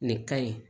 Nin ka ɲi